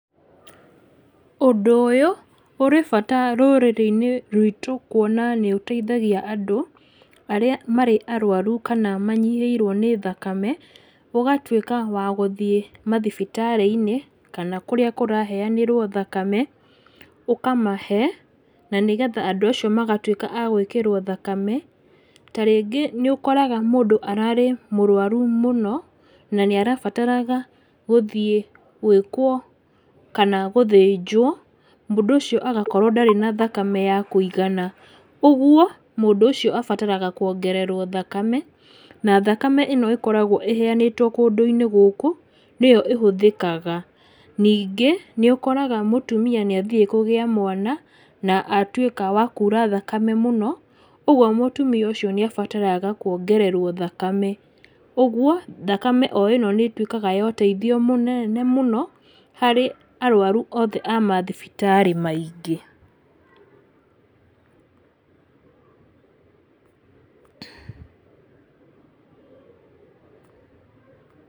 Ũndũ ũyũ, ũrĩ bata rũrĩrĩ-inĩ rwitũ kuona nĩũteithagia andũ, arĩa marĩ arwaru kana manyihĩirwo nĩ thakame, ũgatuĩka wa gũthiĩ mathibitarĩ-inĩ kana kũrĩa kũraheanĩrwo thakame, ũkamahe, na nĩgetha andũ acio magatuĩka a gwĩkĩrwo thakame, ta rĩngĩ nĩũkoraga mũndũ ararĩ mũrwaru mũno, nanĩarabataraga gũthiĩ gwĩkwo, kana gũthĩnjwo, mũndũ ũcio agakorwo ndarĩ na thakame ya kũigana, ũguo, mũndũ ũcio abataraga kũongererwo thakame, na thakame ĩno ĩkoragwo ĩheanĩtwo kũndũ-inĩ gũkũ, nĩyo ĩhũthĩkaga, ningĩ nĩũkoraga mũtumia nĩathire kũgĩa mwana na atuĩka wa kura thakame mũno, ũguo mũtumia ũcio nĩabataraga kuongererwo thakame, ũguo, thakame ĩno nĩtuĩkaga ya ũteithio mũnene mũno harĩ arwaru a mathibitarĩ maingĩ.